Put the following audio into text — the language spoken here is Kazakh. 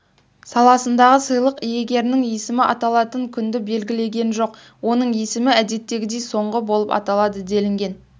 саласындағы сыйлық иегерінің есімі аталатын күнді белгілеген жоқ оның есімі әдеттегідей соңғы болып аталады делінген